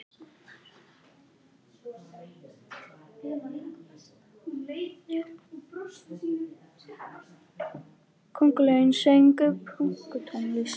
Köngulóin söng pönktónlist!